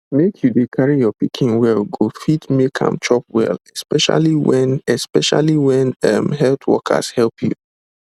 make you dey carry your pikin well go fit make am chop well especially when especially when um health workers help you